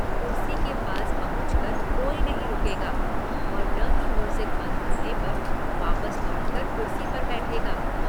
कुर्सी के पास पहुंच कर कोई नहीं रुकेगा और न ही म्यूज़िक बंद होने पर वापस लौटकर कुर्सी पर बैठेगा।